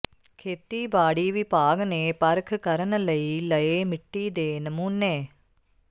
ਖੇਤੀਬਾੜੀ ਵਿਭਾਗ ਨੇ ਪਰਖ ਕਰਨ ਲਈ ਲਏ ਮਿੱਟੀ ਦੇ ਨਮੂਨੇ